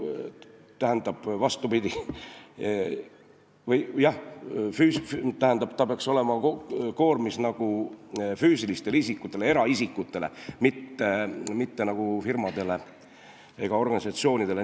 Tähendab, ta peaks olema koormis ainult füüsilistele isikutele, eraisikutele, mitte firmadele ega organisatsioonidele.